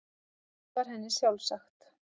Allt var henni sjálfsagt.